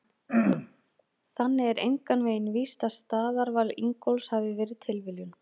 Þannig er engan veginn víst að staðarval Ingólfs hafi verið tilviljun!